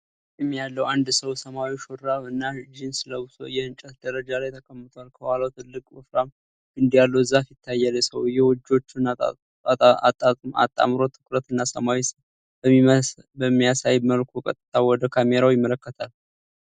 ጢም ያለው አንድ ሰው ሰማያዊ ሹራብ እና ጂንስ ለብሶ የእንጨት ደረጃ ላይ ተቀምጧል። ከኋላው ትልቅ፣ ወፍራም ግንድ ያለው ዛፍ ይታያል። ሰውየው እጆቹን አጣምሮ ትኩረት እና ሰላም በሚያሳይ መልኩ ቀጥታ ወደ ካሜራው ይመለከታል።